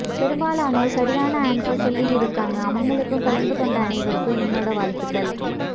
பெரும்பாலனோர் சரியான ஆன்சர் சொல்லியிருக்காங்க அவங்களுக்கும் கலந்து கொண்ட அனைவருக்கும் என்னோட வாழ்த்துகள்